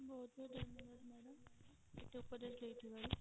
ବହୁତ ବହୁତ ଧନ୍ୟବାଦ ମୋତେ madam ଉପଦେଶ ଦେଇ ଥିବାରୁ।